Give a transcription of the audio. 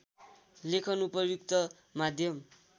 लेखन उपयुक्त माध्यम